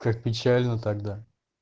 как печально тогда